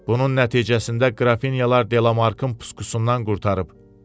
Bunun nəticəsində Qrafinyalar Delamarkın puskusundan qurtarıb.